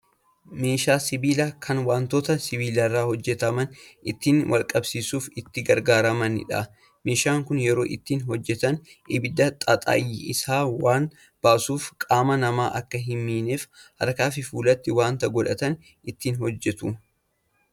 Meeshaa sibiilaa kan wantoota sibiilarraa hojjataman ittiin walqabsiisuuf itti gargaaramanidha. Meeshaan kun yeroo ittiin hojjatan ibidda xaxayyisaa waan baasuuf qaama namaa akka hin miinef harkaafi fuulatti waa godhatanii ittiin hojjatu.